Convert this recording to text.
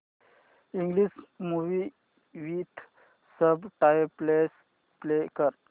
English movie with subtitles play कर